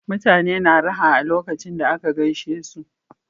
Uutane na raha a lokacon da aka gaishe su